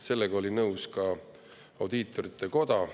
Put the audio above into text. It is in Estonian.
Sellega oli nõus ka audiitorite koda.